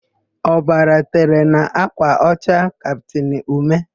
Ọbara tere n'ákwà ọcha kaptịn Ume.